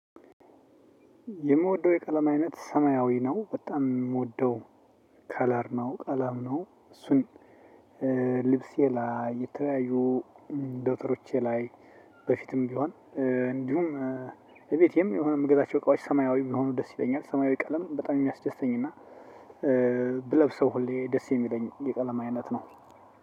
የምወደው የቀለም አይነት ሰማያዊ ነው በጣም የምወደው ከለር ነው። ቀለም ነው። እሱን ልብሴ ላይ የተለያዩ ደብተሮቸ ላይ በፊትም ቢሆን እንዲሁም እቤቴም የሆነ የምገዛቸው እቃዎች ሰማያዊ ቢሆኑ ደስ ይለኛል። ሰማያዊ ቀለም በጣም የሚያስደስተኝ እና ብለብሰው ሁሌ ደስ የሚለኝ የቀለማ አይነት ነው።